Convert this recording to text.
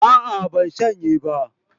A'a ban shanye ba